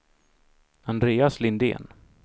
Andreas Lindén